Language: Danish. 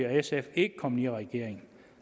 og sf ikke kommet i regering